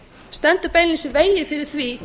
stendur beinlínis í vegi fyrir því